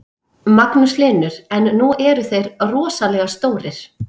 Magnús Hlynur: En nú eru þeir rosalega stórir?